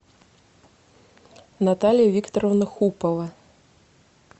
наталья викторовна хупова